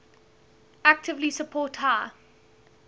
actively support high